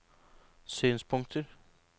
synspunkter